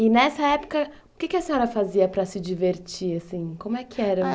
E, nessa época, o que a senhora fazia para se divertir? Como é que era?